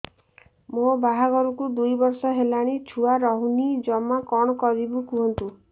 ମୋ ବାହାଘରକୁ ଦୁଇ ବର୍ଷ ହେଲାଣି ଛୁଆ ରହୁନି ଜମା କଣ କରିବୁ କୁହନ୍ତୁ